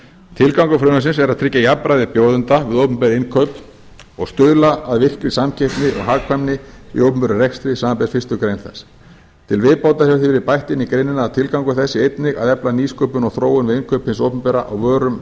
tilgangur frumvarpsins er að tryggja jafnræði bjóðenda við opinber innkaup og stuðla að virkri samkeppni og hagkvæmni í opinberum rekstri samanber fyrstu greinar þess til viðbótar hefur því verið bætt inn í greinina að tilgangur þess sé einnig að efla nýsköpun og þróun við innkaup hins opinbera á vörum